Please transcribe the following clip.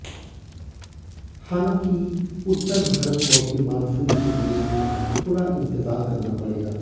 हालांकि उत्तर भारत को अभी मानसून के लिए थोड़ा इंतजार करना पड़ेगा